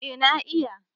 Eh na iya